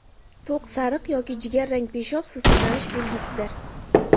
To‘q sariq yoki jigarrang peshob suvsizlanish belgisidir.